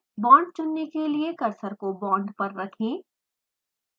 bond चुनने के लिए कर्सर को बॉन्ड पर रखें